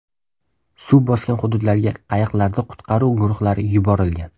Suv bosgan hududlarga qayiqlarda qutqaruv guruhlari yuborilgan.